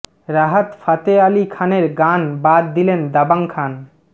রাহাত ফাতে আলী খানের গান বাদ দিলেন দাবাং খান